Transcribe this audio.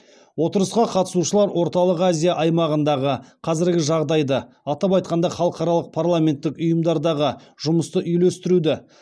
отырысқа қатысушылар орталық азия аймағындағы қазіргі жағдайды атап айтқанда халықаралық парламенттік ұйымдардағы жұмысты үйлестіруді